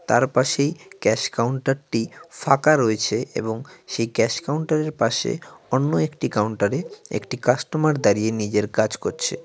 তার পাশেই ক্যাশ কাউন্টারটি ফাঁকা রয়েছে এবং সেই ক্যাশ কাউন্টারের পাশে অন্য একটি কাউন্টারে একটি কাস্টমার দাঁড়িয়ে নিজের কাজ করছে।